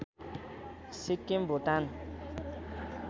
Sikkim Bhutan